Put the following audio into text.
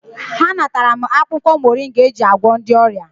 Ha natara m akwụkwọ moringa eji agwọ ndị ọrịa.